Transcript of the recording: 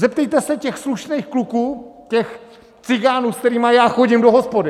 Zeptejte se těch slušných kluků, těch cigánů, s kterýma já chodím do hospody.